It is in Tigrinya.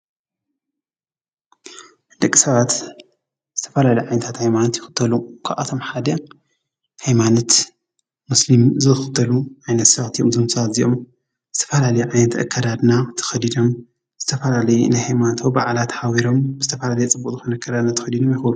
ደቂ ሰባት ዝተፈላለዩ ሃይማኖት ይኽተሉ ካብ ኣቶም ሓደ ሃይማኖት እስልምና እዩ። ብዙሕ ኣማኒ ኸዓ ኣለዎ።